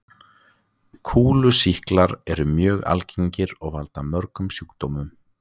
Kúlusýklar eru mjög algengir og valda mörgum sjúkdómum.